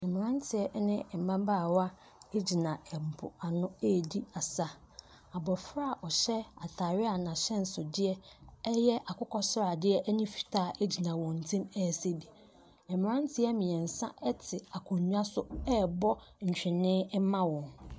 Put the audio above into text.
Mmeranteɛ ɛne ɛmabaawa egyina ɛpo ano eedi asa. Abɔfra a ɔhyɛ ataare a n'ahyɛnsodeɛ ɛyɛ akokɔ sradeɛ ɛne fitaa ɛgyina wɔn ntɛm ɛɛsa bi. Mmeranteɛ mmeɛnsa ɛte akonwa so ɛɛbɔ ntwenee ɛma wɔn.